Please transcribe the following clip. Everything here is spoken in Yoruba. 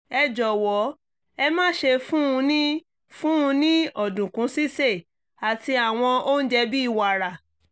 ẹ jọ̀wọ́ ẹ má ṣe fún un ni fún un ni ọ̀dùnkún sísè àti àwọn oúnjẹ bí wàrà